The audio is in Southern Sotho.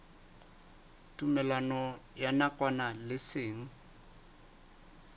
tumellano ya nakwana le seng